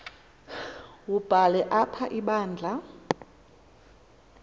wubhale apha ibandla